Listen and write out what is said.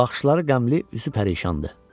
Baxışları qəmli, üzü pərişandı.